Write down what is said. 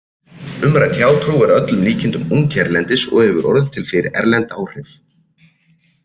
Umrædd hjátrú er að öllum líkindum ung hérlendis og hefur orðið til fyrir erlend áhrif.